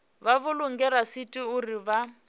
vha vhulunge rasithi uri vha